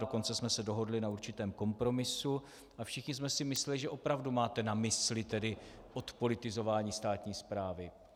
Dokonce jsme se dohodli na určitém kompromisu a všichni jsme si mysleli, že opravdu máte na mysli tedy odpolitizování státní správy.